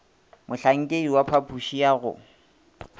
mohlankedi wa phapoši ya go